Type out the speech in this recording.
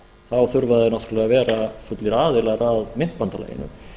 þá þurfa þeir náttúrlega að vera fullir aðilar að myntbandalaginu